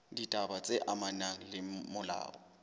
ditaba tse amanang le molao